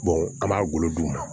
an b'a golo d'u ma